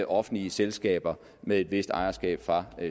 offentlige selskaber med et vist ejerskab fra